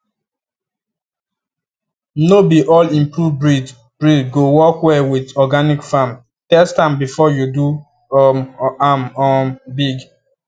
no be all improved breed breed go work well with organic farmtest am before you do um am um big